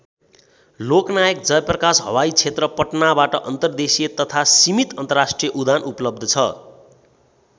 लोकनायक जयप्रकाश हवाई क्षेत्र पटनाबाट अन्तर्देशीय तथा सीमित अन्तर्राष्ट्रिय उडान उपलब्ध छ।